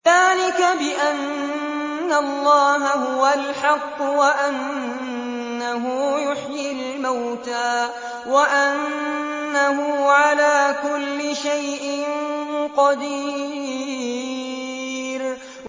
ذَٰلِكَ بِأَنَّ اللَّهَ هُوَ الْحَقُّ وَأَنَّهُ يُحْيِي الْمَوْتَىٰ وَأَنَّهُ عَلَىٰ كُلِّ شَيْءٍ قَدِيرٌ